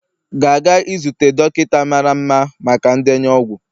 ga-aga izute dọkịta mara mma maka ndenye ọgwụ